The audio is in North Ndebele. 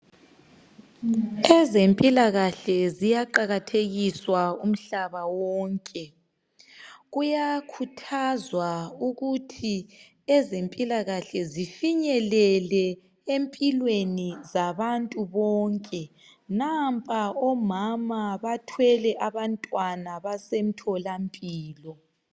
Ezempilakahle ziyaqakathekiswa umhlaba wonke. Kuyakhuthazwa ukuthi ezempilakahle zifinyelele empilweni zabantu bonke. Nampa omama bathwele abantwana basemtholampilo.